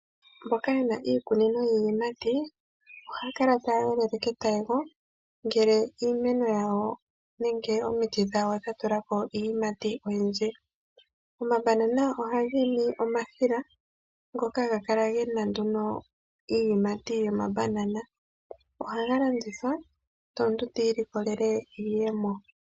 Mboka yena iikunino yiiyimati ohaya kala taya yolele ketayego ngele iimeno yawo nenge omiti dhawo dha tulako iiyimati oyindji. OmaBanana ohaga imi omahila ngoka haga kala gena nduno iiyimati yomaBanana. Ohaga landithwa nde omuntu ti ilikolele iiyemo.